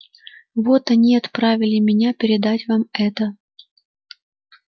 вот они и отправили меня передать вам это